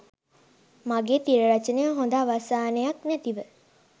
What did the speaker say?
මගේ තිර රචනය හොඳ අවසානයක් නැතිව